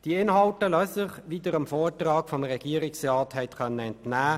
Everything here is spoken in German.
Sie lassen sich in fünf Bereichen ansiedeln.